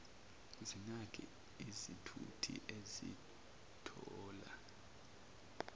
zinake izithuthi ezithola